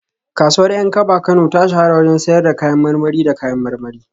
Kasuwar Yankaba Kano ta shahara wajen sayar da kayan marmari da kayan marmari